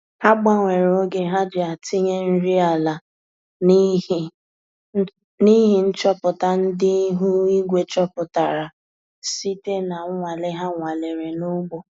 Ha gbanwere oge ha ji atinye nri ala na ịhị nchọpụta ndị ihu igwe chopụtara site na nwale ha nwalere na ugbo